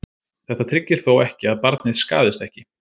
Þetta tryggir þó ekki að barnið skaðist ekki.